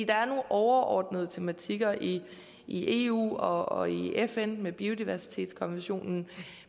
er nogle overordnede tematikker i i eu og og i fn med biodiversitetskonventionen